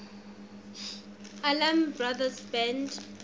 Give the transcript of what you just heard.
allman brothers band